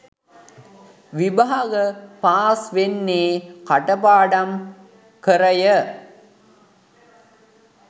විභාග පාස් වන්නේ කටපාඩම් කරය